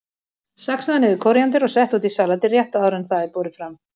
Saxaðu niður kóríander og settu út í salatið rétt áður en það er borið fram.